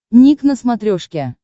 ник на смотрешке